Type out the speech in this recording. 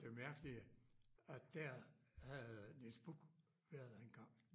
Det mærkelige at der havde Niels Buch været engang